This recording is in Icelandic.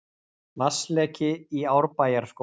Vatnsleki í Árbæjarskóla